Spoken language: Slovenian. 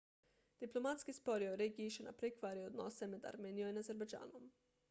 diplomatski spori o regiji še naprej kvarijo odnose med armenijo in azerbajdžanom